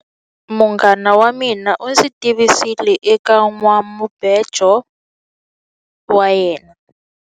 Munghana wa mina u ndzi tivisile eka nhwanamubejo wa yena.